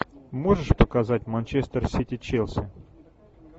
можешь показать манчестер сити челси